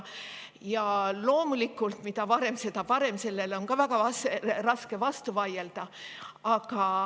Ja loomulikult, mida varem, seda parem – sellele on väga raske vastu vaielda.